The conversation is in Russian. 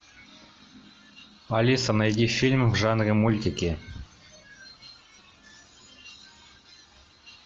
алиса найди фильмы в жанре мультики